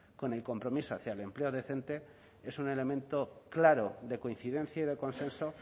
con el compromiso hacia el empleo decente es un elemento claro de coincidencia y de consenso